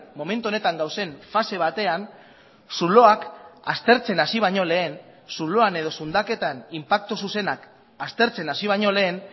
momentu honetan dauden fase batean zuloak aztertzen hasi baino lehen zuloan edo zundaketan inpaktu zuzenak aztertzen hasi baino lehen